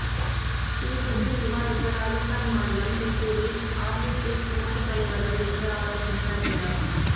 இதுகுறித்து விவாதிக்க ராஜஸ்தான் மாநிலம் சித்தூரில் ஆர்எஸ்எஸ் மூத்த தலைவர்கள் நேற்று ஆலோசனை நடத்தினர்